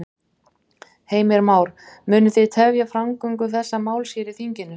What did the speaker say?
Heimir Már: Munu þið tefja framgöngu þessa máls hér í þinginu?